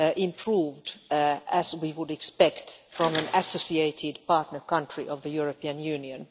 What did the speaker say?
improved as we would expect from an associated partner country of the European Union.